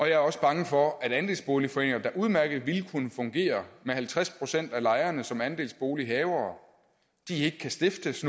jeg er også bange for at andelsboligforeninger der udmærket ville kunne fungere med halvtreds procent af lejerne som andelsbolighavere ikke kan stiftes